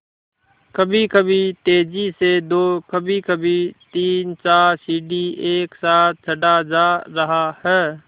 कभीकभी तेज़ी से दो कभीकभी तीनचार सीढ़ी एक साथ चढ़ा जा रहा है